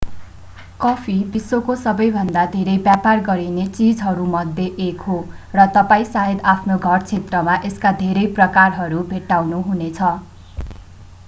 coffee विश्वको सबैभन्दा धेरै व्यापार गरिने चीजहरूमध्ये एक हो र तपाईं सायद आफ्नो घर क्षेत्रमा यसका धेरै प्रकारहरू भेट्टाउनुहुनेछ